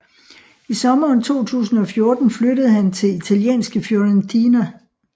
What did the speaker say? I sommeren 2014 flyttede han til italienske Fiorentina